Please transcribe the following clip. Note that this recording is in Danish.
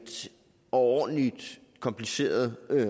overordentlig kompliceret